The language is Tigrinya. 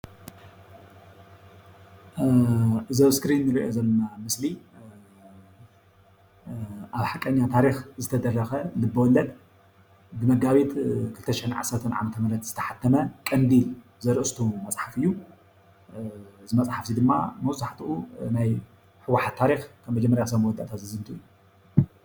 እዚ ኣብ እስክሪን እንሪኦ ዘለና ምስሊ ኣብ ሓቀኛ ታሪክ ዝተደረኸ ልቦወለድ ብመጋቢት 2010 ዓ/ም ዝተሓተመ ቀንዲል ዝብል ዘርስቱ መፅሓፍ እዩ፡፡ እዚ መፅሓፍ እዚ ድማ መብዛሕትኡ ናይ ህ.ወ.ሓ.ት ታሪክ ካብ መጀመርያ ክሳብ መወዳእታ ዝዝንቱ እዩ፡፡